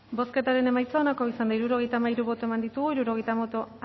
bozketaren emaitza onako izan da hirurogeita hamairu eman dugu bozka hirurogeita hamairu boto